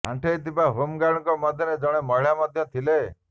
ଆଣ୍ଠେଇ ଥିବା ହୋମ୍ଗାର୍ଡଙ୍କ ମଧ୍ୟରେ ଜଣେ ମହିଳା ମଧ୍ୟ ଥିଲେ